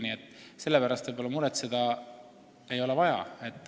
Nii et selle pärast võib-olla muretseda ei ole vaja.